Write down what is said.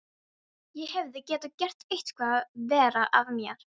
Ég hefði getað gert eitthvað verra af mér.